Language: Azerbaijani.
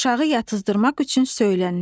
Uşağı yatızdırmaq üçün söylənilir.